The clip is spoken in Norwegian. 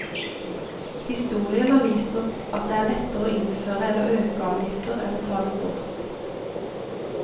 Historien har vist oss at det er lettere å innføre eller øke avgifter enn å ta dem bort.